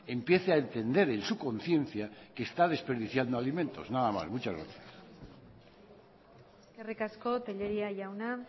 empiece a entender en su conciencia que está desperdiciando alimentos nada más muchas gracias eskerrik asko tellería jauna